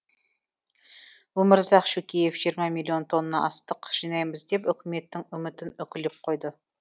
өмірзақ шөкеев жиырма миллион тонна астық жинаймыз деп үкіметтің үмітін үкілеп қойды